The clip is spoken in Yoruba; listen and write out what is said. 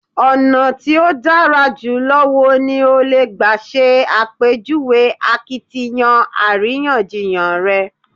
Ọ̀nà tí ó dára jùlọ wo ni o lè gbà ṣe àpèjúwe akiytiyan àríyànjiyàn rẹ?